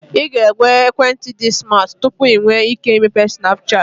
Ị ga-enwe ekwentị dị smat tupu ị nwee ike imepe Snapchat